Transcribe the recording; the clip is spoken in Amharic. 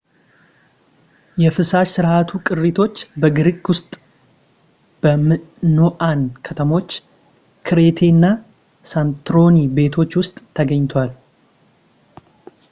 የፍሳሽ ስርዓቱ ቅሪቶች በግሪክ ውስጥ በሚኖኣን ከተሞች ክሬቴ እና ሳንቶሪኒ ቤቶች ውስጥ ተገኝተዋል